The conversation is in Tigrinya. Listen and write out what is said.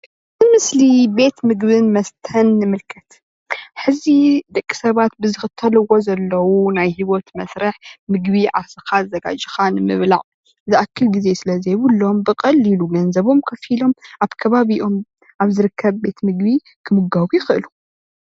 እ ምስሊ ቤት ምግብን መስተን እንምልከት ሐዚ ደቂ ሰባት ብዝክተልዎ ዘለዉ ናይ ህይወት መስርሕ ምግቢ ዓርስካ ኣዘጋጂካ ንምብላዕ ዝኣክል ግዘ ዝስለ ዘይብሎም ብቀሉሉ ገንዘቦም ከፊሎም ኣብ ከባቢኦም ኣብ ዝርከብ ቤት ምግቢ ክምገቡ ይክእሉደ።